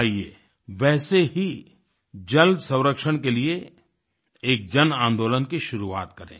आइए वैसे ही जल संरक्षण के लिए एक जन आंदोलन की शुरुआत करें